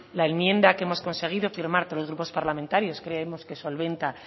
la enmienda que hemos conseguido firmar tres grupos parlamentarios creemos que solventa